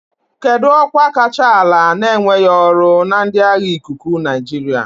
Kedu ọkwa kacha ala na-enweghị ọrụ na ndị agha ikuku Nigeria.